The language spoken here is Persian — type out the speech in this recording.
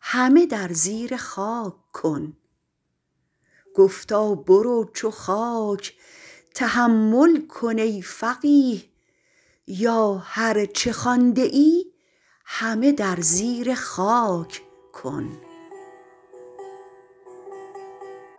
همه در زیر خاک کن